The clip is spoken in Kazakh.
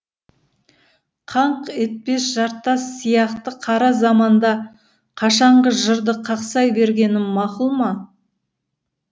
қаңқ етпес жартас сияқты қара заманда қашаңғы жырды қақсай бергенім макұл ма